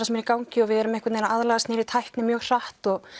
sem er í gangi við erum að aðlagast nýrri tækni mjög hratt og